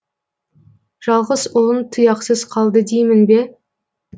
жалғыз ұлың тұяқсыз қалды деймін бе